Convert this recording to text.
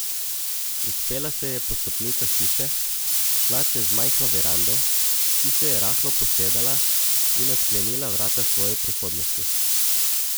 Vzpela se je po stopnicah hiše, šla čez majhno verando, ki se je rahlo posedala, in odklenila vrata svoje prihodnosti.